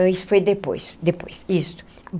Isso foi depois depois isto.